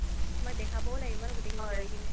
তুমাক দেখাবও লাগিব ন গুতেই খিনি কৰি কিনে